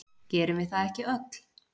Gerum við það ekki öll?